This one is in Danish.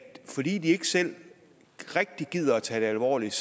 fordi de ikke selv rigtig gider tage det alvorligt